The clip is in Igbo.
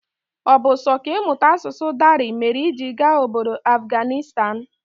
Ọ bu sọ kà ịmụta asụsụ Dari mèrè iji gaa ọbọdọ Afganistan?